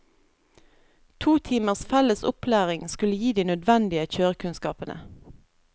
To timers felles opplæring skulle gi de nødvendige kjørekunnskapene.